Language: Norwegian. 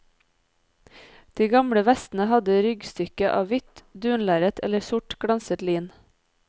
De gamle vestene hadde ryggstykke av hvitt dunlerret eller sort glanset lin.